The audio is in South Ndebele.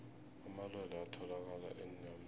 amalwelwe atholakala enyameni